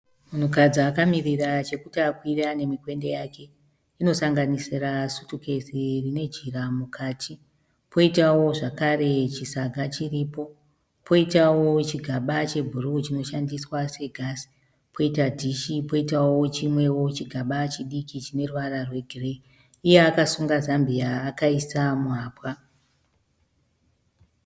Munhukadzi akamirira chokuti akwire ane mikwende yake. Inosanganisira sutukezi rine jira mukati, poitawo zvakare chisaga chiripo, poitawo chigaba chebhuruu chinoshandiswa segasi, poita dhishi, poitawo chimwewo chigaba chidiki chine ruvara rwegireyi. Iye akasunga zambia akaisa muhapwa.